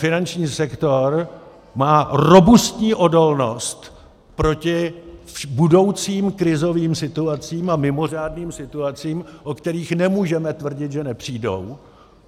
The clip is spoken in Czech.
Finanční sektor má robustní odolnost proti budoucím krizovým situacím a mimořádným situacím, o kterých nemůžeme tvrdit, že nepřijdou.